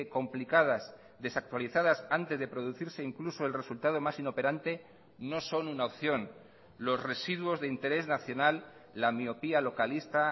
complicadas desactualizadas antes de producirse incluso el resultado más inoperante no son una opción los residuos de interés nacional la miopía localista